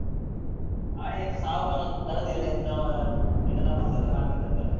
ಅವನಿಗೆ ಎಂತ ಸಾವು ಬರ~ ಬರದಿರಲಿ ಅಂತ ಎಂತ ತಪಸ್ಸು ಎಲ್ಲಾ ಮಾಡ್ತಿದ್ದ ಅಂತಲ್ಲಾ.